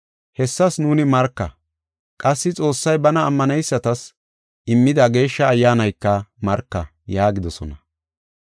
Hessas nuuni marka; qassi Xoossay bana ammaneysatas immida Geeshsha Ayyaanayka marka” yaagidosona.